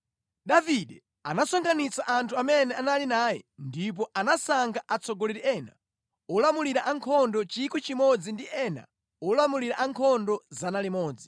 Davide anasonkhanitsa anthu amene anali naye ndipo anasankha atsogoleri ena olamulira ankhondo 1,000 ndi ena olamulira ankhondo 100.